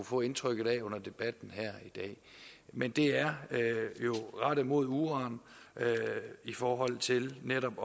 få indtrykket af under debatten her i dag men det er jo rettet mod uran i forhold til netop